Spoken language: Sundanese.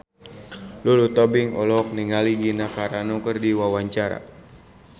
Lulu Tobing olohok ningali Gina Carano keur diwawancara